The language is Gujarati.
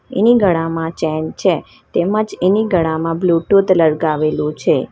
એની ગળામાં ચેન છે તેમજ એની ગળામાં બ્લુટુથ લટકાવેલું છે.